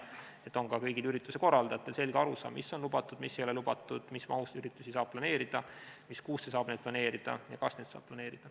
Siis on ka kõigil ürituste korraldajatel selge arusaam, mis on lubatud ja mis ei ole lubatud, mis mahus üritusi saab planeerida, mis kuusse saab neid planeerida ja kas neid saab planeerida.